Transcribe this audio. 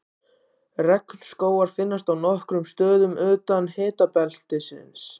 Regnskógar finnast á nokkrum stöðum utan hitabeltisins.